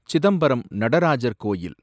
சிதம்பரம் நடராஜர் கோயில்